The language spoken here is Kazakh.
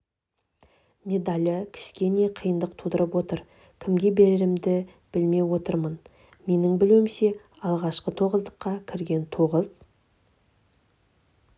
медалі кішкене қиындық тудырып отыр кімге берерімді білме отырмын менің білуімше алғашқы тоғыздыққа кірген тоғыз